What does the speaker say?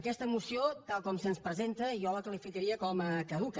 aquesta moció tal com se’ns presenta jo la qualificaria com a caduca